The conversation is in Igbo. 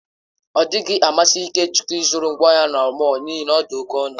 Ọ dịghị amasị Ikechukwu ịzụrụ ngwá ụlọ na mọll n'ihi na ha dị oke ọnụ.